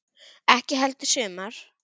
Ekki heldur sumar.